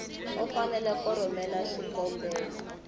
u fanele ku rhumela xikombelo